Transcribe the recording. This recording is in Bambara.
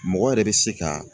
Mɔgɔ yɛrɛ bɛ se ka